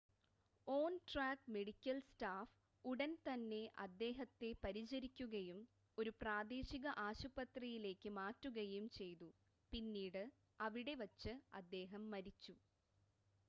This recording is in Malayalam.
ഓൺ-ട്രാക്ക് മെഡിക്കൽ സ്റ്റാഫ് ഉടൻ തന്നെ അദ്ദേഹത്തെ പരിചരിക്കുകയും ഒരു പ്രാദേശിക ആശുപത്രിയിലേക്ക് മാറ്റുകയും ചെയ്തു പിന്നീട് അവിടെ വച്ച് അദ്ദേഹം മരിച്ചു